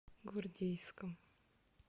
гвардейском